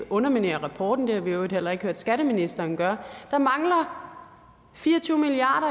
underminere rapporten det har vi i øvrigt heller ikke hørt skatteministeren gøre der mangler fire og tyve milliard